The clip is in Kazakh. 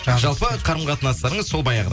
жалпы қарым қатынастарыңыз сол баяғыдай